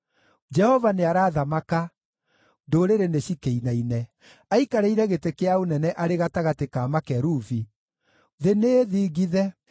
Jehova nĩarathamaka, ndũrĩrĩ nĩcikĩinaine; aikarĩire gĩtĩ kĩa ũnene arĩ gatagatĩ ka makerubi, thĩ nĩĩthingithe.